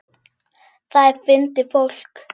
Það er fyndið fólk.